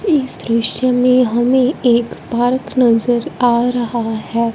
इस दृश्य में हमें एक पार्क नजर आ रहा है।